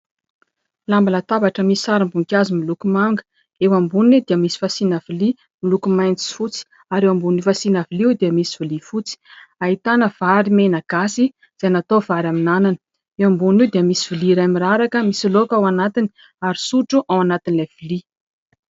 Lamba latabatra misy sarim-boninkazo miloko manga, eo amboniny dia misy fasiana lovia miloko maitso, fotsy ary eo ambony fasiana lovia dia misy lovia fotsy. Ahitana vary mena gasy izay natao vary amin'ny anana, eo ambonin'io dia misy lovia iray miraraka misy laoka ao anatiny ary sotro ao anatin'ilay lovia.